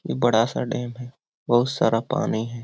ई बड़ा सा डैम है। बहुत सारा पानी है।